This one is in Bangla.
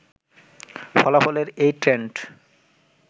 ফলাফলের এই ট্রেন্ড